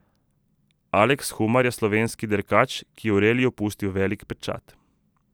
Aleks Humar je slovenski dirkač, ki je v reliju pustil velik pečat.